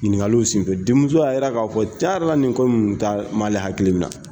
Ɲininkaliw senfɛ denmuso ya yira ka fɔ cɛn yɛrɛ la nin ko nunnu t'a ma ali kun minɛ.